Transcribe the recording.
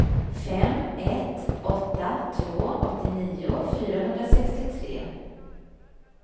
fem ett åtta två åttionio fyrahundrasextiotre